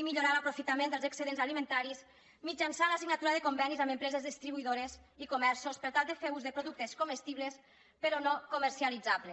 i millorar l’aprofitament dels excedents alimentaris mitjançant la signatura de convenis amb empreses distribuïdores i comerços per tal de fer ús de productes comestibles però no comercialitzables